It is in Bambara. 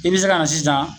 I bɛ se ka na sisan